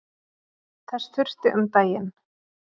Þess þurfti um daginn.